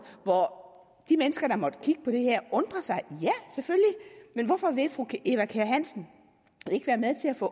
hvor de mennesker der måtte kigge på det her undrer sig men hvorfor vil fru eva kjer hansen ikke være med til at få